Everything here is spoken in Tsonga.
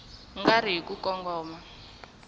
nga ri hi ku kongoma